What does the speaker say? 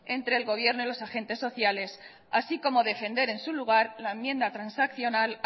entre el gobierno y los agentes sociales así como defender en su lugar la enmienda transaccional